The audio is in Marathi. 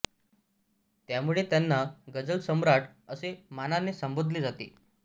त्यामुळे त्यांना गझल सम्राट असे मानाने संबोधले जाते